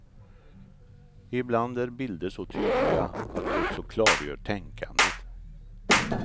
Ibland är bilder så tydliga att de också klargör tänkandet.